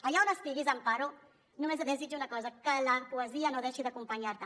allà on estiguis amparo només et desitjo una cosa que la poesia no deixi d’acompanyar te